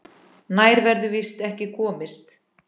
Nær verður víst ekki komist.